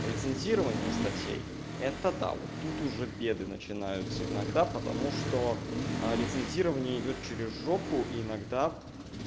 рецензирование статей это да вот тут уже беды начинаются иногда потому что рецензирование идёт через жопу и тогда